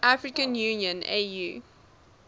african union au